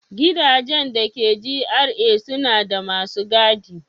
Gidajen da ke GRA suna da masu gadi.